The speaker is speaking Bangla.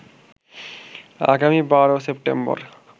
আগামী ১২ সেপ্টেম্বর